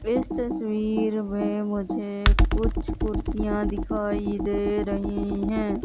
इस तस्वीर में मुझे कुछ कुर्सियां दिखाई दे रही है।